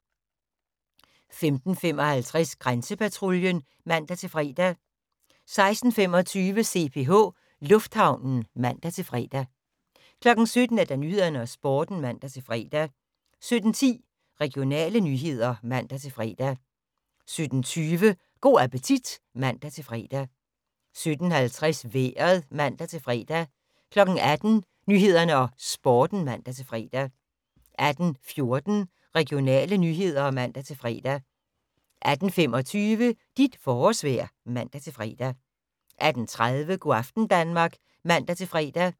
15:55: Grænsepatruljen (man-fre) 16:25: CPH Lufthavnen (man-fre) 17:00: Nyhederne og Sporten (man-fre) 17:10: Regionale nyheder (man-fre) 17:20: Go' appetit (man-fre) 17:50: Vejret (man-fre) 18:00: Nyhederne og Sporten (man-fre) 18:14: Regionale nyheder (man-fre) 18:25: Dit forårsvejr (man-fre) 18:30: Go' aften Danmark (man-fre)